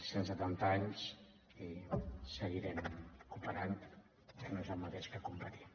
cent setanta anys i seguirem cooperant que no és el mateix que competir